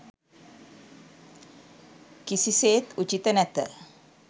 කිසිසේත් උචිත නැත.